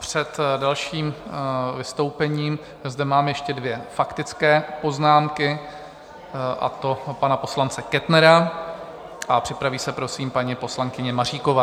Před dalším vystoupením zde mám ještě dvě faktické poznámky, a to pana poslance Kettnera a připraví se prosím paní poslankyně Maříková.